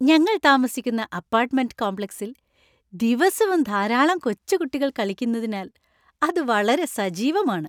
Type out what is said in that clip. ഞങ്ങൾ താമസിക്കുന്ന അപ്പാർട്ട്മെന്‍റ് കോംപ്ലക്സിൽ ദിവസവും ധാരാളം കൊച്ചുകുട്ടികൾ കളിക്കുന്നതിനാൽ അത് വളരെ സജീവമാണ്.